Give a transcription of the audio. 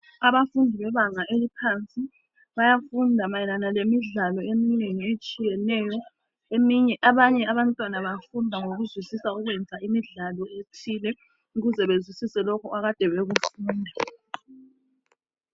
Abafundi bebanga eliphansi bayafunda mayelana ngemidlalo eminengi etshiyeneyo .Abanye abantwana bafunda ngokuzwisisa ukwenza imidlalo ethile ukuze bezwisise lokho akade bekufunda.